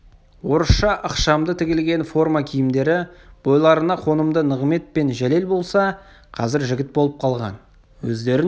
орысша ықшамды тігілген форма киімдері бойларына қонымды нығымет пен жәлел болса қазір жігіт болып қалған өздерін